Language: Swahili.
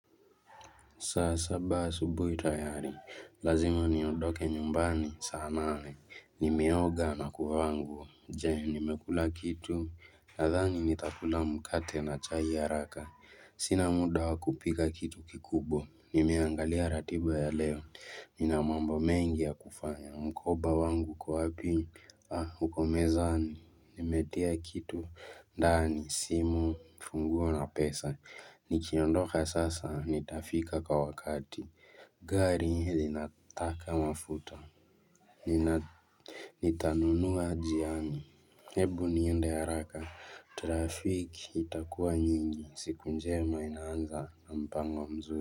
Saa saba asubuhi tayari lazima niondoke nyumbani saa nane nimeoga na kuvaa nguo je nimekula kitu nadhani nitakula mkate na chai ya haraka sina muda wa kupika kitu kikubwa nimeangalia ratiba ya leo nina mambo mengi ya kufanya mkoba wangu uko wapi uko mezani nimetia kitu ndani simu funguo na pesa nikiondoka sasa nitafika kwa wakati Gari hili linataka mafuta nina Nitanunua njiani hebu niende haraka Trafiki itakuwa nyingi siku njema inaanza na mpango mzuri.